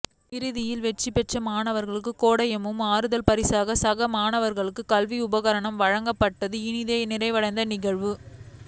இறுதியில் வெற்றிபெற்ற மாணவர்களுக்கு கேடயமும் ஆறுதல் பரிசாக சக மாணவர்களுக்கு கல்வி உபகரணங்கள் வழங்கப்பட்டு இனிதே நிறைவடைந்தது நிகழ்வு